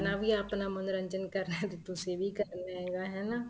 ਆਪਣਾ ਵੀ ਆਪਣਾ ਮੰਨੋਰੰਜਨ ਕਰ ਸਕਦੇ ਹੋ ਤੁਸੀਂ ਵੀ ਕਰਨਾ ਹੈਗਾ ਹਨਾ